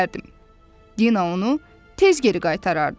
Dina onu tez geri qaytarardı.